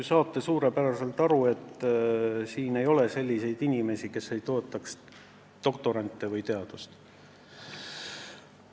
Te saate ju suurepäraselt aru, et siin ei ole selliseid inimesi, kes ei toetaks doktorante või teadust.